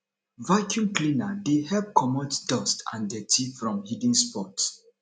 vaccume cleaner dey help comot dust and dirty from hidden spots